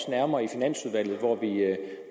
nærmere i finansudvalget